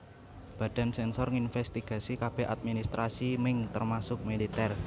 Badan sensor nginsvestigasi kabeh adminstrasi Ming termasuk militer